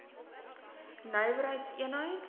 nywer heids eenheid